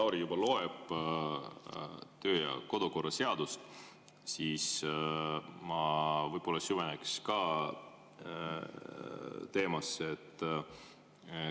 Kui Lauri juba loeb töö- ja kodukorra seadust, siis ma võib-olla süveneks ka teemasse.